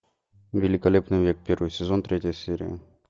великолепный век первый сезон третья серия